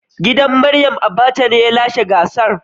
Gidan Mariam Abacha ne ya lashe gasar.